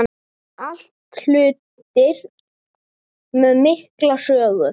Allt hlutir með mikla sögu.